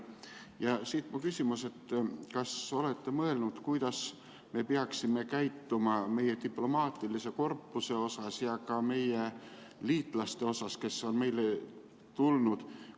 Ja siit mu küsimus: kas te olete mõelnud, kuidas me peaksime käituma meie diplomaatilise korpuse ja ka meie liitlaste suhtes, kes on meile tulnud?